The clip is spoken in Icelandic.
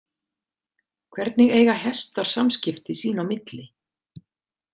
Hvernig eiga hestar samskipti sín á milli?